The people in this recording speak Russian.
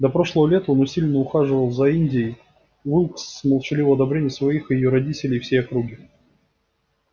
до прошлого лета он усиленно ухаживал за индией уилкс с молчаливого одобрения своих и её родителей и всей округи